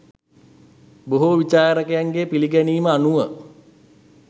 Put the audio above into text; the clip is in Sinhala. බොහෝ විචාරකයන්ගේ පිළිගැනීම අනුව,